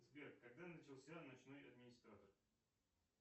сбер когда начался ночной администратор